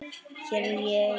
Hér er ég ein.